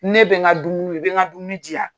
Ne bɛn n ka dumuni i bɛ n ka dumuni di yan.